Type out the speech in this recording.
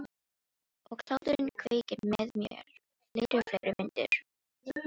Og hláturinn kveikir með mér fleiri og fleiri myndir.